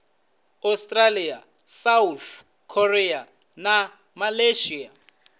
australia south korea na malaysia